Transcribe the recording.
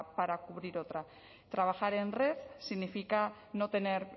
para cubrir otra trabajar en red significa no tener